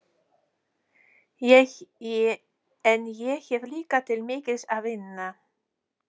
En ég hef líka til mikils að vinna.